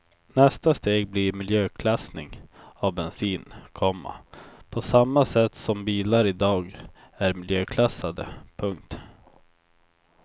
Nästa steg blir miljöklassning av bensin, komma på samma sätt som bilar i dag är miljöklassade. punkt